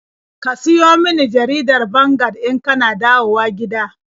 Ka siyo min jaridar Vanguard in ka na dawowa gida.